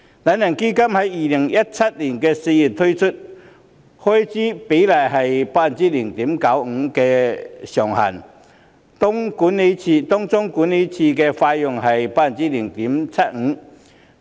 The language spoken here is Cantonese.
"懶人基金"於2017年4月推出，開支比率以 0.95% 為上限，當中管理費上限是 0.75%。